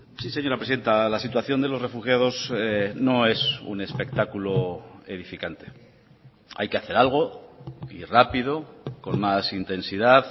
sí señora presidenta la situación de los refugiados no es un espectáculo edificante hay que hacer algo y rápido con más intensidad